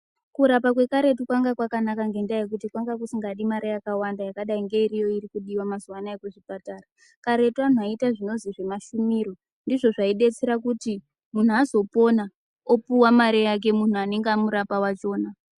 Kurapa kwekaretu kwanga kwakanaka ndendaa yekuti kwanga kusikadi mare yakawanda yakadai ngeiriyo irikudiwa mazuwa anaya kuchipatara. Karetu antu aiita zvinozwi zvemashumiro ndizvo zvaidetsera kuti muntu azopona opuwa mare yake muntu anenge amurapa wachona.